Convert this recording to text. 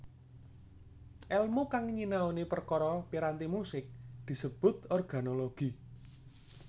Èlmu kang nyinaoni perkara piranti musik disebut organologi